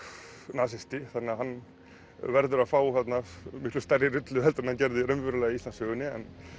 nasisti þannig að hann verður að fá þarna miklu stærri rullu heldur en hann gerði raunverulega í Íslandssögunni